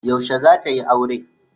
Yaushe zata yi aure?